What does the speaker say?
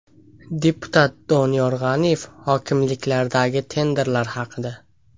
Deputat Doniyor G‘aniyev hokimliklardagi tenderlar haqida.